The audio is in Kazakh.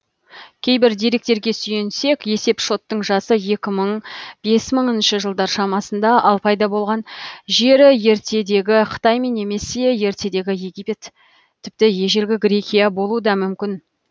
кейбір деректерге сүйенсек есепшоттың жасы екі мың бес мыңыншы жылдар шамасында ал пайда болған жері ертедегі қытай немесе ертедегі египет тіпті ежелгі грекия болуы да мүмкін